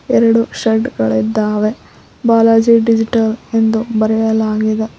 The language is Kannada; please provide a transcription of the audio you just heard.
ಎರಡು ಶಡ್ ಗಳು ಇದ್ದಾವೆ ಬಾಲಾಜಿ ಡಿಜಿಟಲ್ ಎಂದು ಬರೆಯಲಾಗಿದೆ.